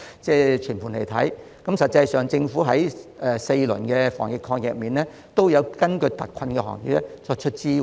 事實上，政府在4輪防疫抗疫基金中均有為特困行業提供支援。